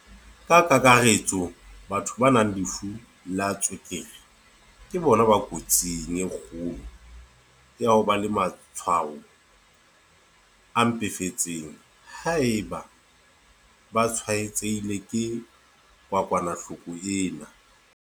"Ka kakaretso, batho ba nang le lefu la tswekere ke bona ba kotsing e kgolo ya ho ba le matshwao a mpefetseng haeba ba tshwaetsehile ke kokwanahloko ena."